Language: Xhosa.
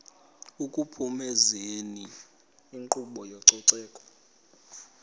ekuphumezeni inkqubo yezococeko